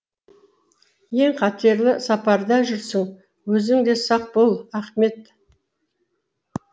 ең қатерлі сапарда жүрсің өзің де сақ бол ахмет